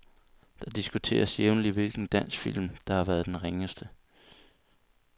Det diskuteres jævnligt hvilken dansk film, der har været den ringeste.